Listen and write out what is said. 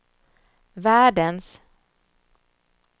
världens